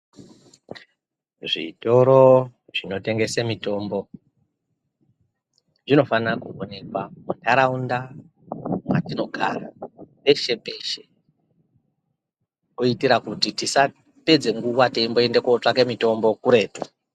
Zvitoro zvinotengese mutombo zvinofana kuonekwa muntaraunda mwatinogara peshe peshe kuitire kuti tisapedze nguwa teimboende kotsvake mutombo kuretu.